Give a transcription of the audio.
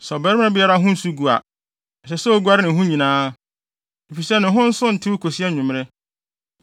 “ ‘Sɛ ɔbarima biara ho nsu gu a, ɛsɛ sɛ oguare ne ho nyinaa, efisɛ ne ho nso ntew kosi anwummere.